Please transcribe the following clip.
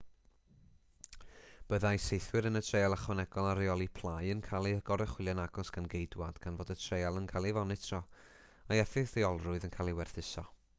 byddai saethwyr yn y treial ychwanegol ar reoli plâu yn cael eu goruchwylio'n agos gan geidwaid gan fod y treial yn cael ei fonitro a'i effeithiolrwydd yn cael ei werthuso